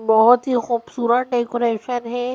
बहुत ही खूबसूरत डेकोरेशन है।